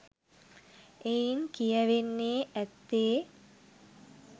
එයින් කියැවෙන්නේ ඇත්තේ